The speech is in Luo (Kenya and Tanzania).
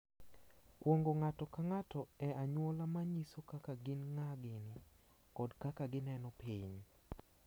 Kuong’o ng’ato ka ng’ato e anyuola ma nyiso kaka gin ng’a gini kod kaka gineno piny.